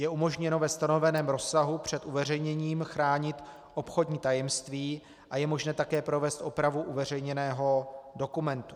Je umožněno ve stanoveném rozsahu před uveřejněním chránit obchodní tajemství a je možné také provést opravu uveřejněného dokumentu.